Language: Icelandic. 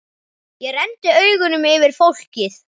Ég renndi augunum yfir fólkið.